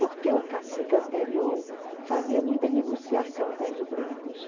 Porque o cacique anterior fazia muita negociação com os brancos.